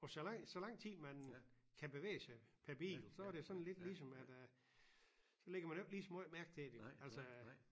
Og så lang så lang tid man kan bevæge sig per bil så er det sådan lidt ligesom at øh så lægger man jo ikke ligeså måjt mærke til det altså